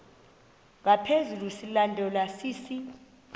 ngaphezu silandelwa sisi